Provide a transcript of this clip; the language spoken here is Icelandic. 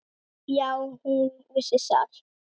Já, hún vissi það.